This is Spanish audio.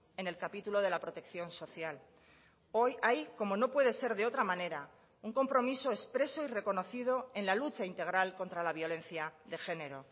en el capítulo de la protección social hoy hay como no puede ser de otra manera un compromiso expreso y reconocido en la lucha integral contra la violencia de género